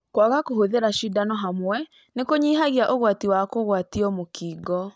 Kwaga kũhũthira cindano hamwe nĩ kũnyihagia ũgwati wa kũgwatio mũkingo.